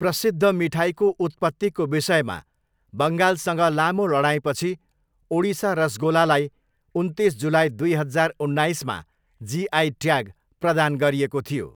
प्रसिद्ध मिठाईको उत्पत्तिको विषयमा बङ्गालसँग लामो लडाइँपछि 'ओडिसा रसगोला' लाई उन्तिस जुलाई दुई हजार उन्नाइसमा जिआई ट्याग प्रदान गरिएको थियो।